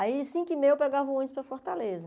Aí, às cinco e meia, eu pegava o ônibus para Fortaleza.